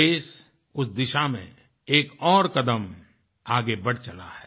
देश उस दिशा में एक और कदम आगे बढ़ चला है